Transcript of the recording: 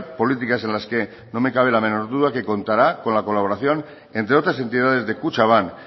políticas en las que no me cabe la menor duda que contará con la colaboración entre otras entidades de kutxabank